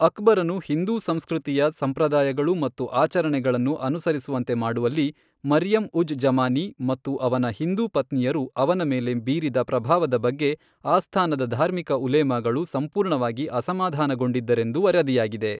ಅಕ್ಬರನು ಹಿಂದೂ ಸಂಸ್ಕೃತಿಯ ಸಂಪ್ರದಾಯಗಳು ಮತ್ತು ಆಚರಣೆಗಳನ್ನು ಅನುಸರಿಸುವಂತೆ ಮಾಡುವಲ್ಲಿ, ಮರಿಯಂ ಉಜ್ ಜಮಾನಿ ಮತ್ತು ಅವನ ಹಿಂದೂ ಪತ್ನಿಯರು ಅವನ ಮೇಲೆ ಬೀರಿದ ಪ್ರಭಾವದ ಬಗ್ಗೆ ಆಸ್ಥಾನದ ಧಾರ್ಮಿಕ ಉಲೇಮಾಗಳು ಸಂಪೂರ್ಣವಾಗಿ ಅಸಮಾಧಾನಗೊಂಡಿದ್ದರೆಂದು ವರದಿಯಾಗಿದೆ.